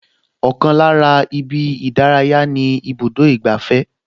Ọkàn lára ibi ìdárayá ni ibùdó ìgbafẹ́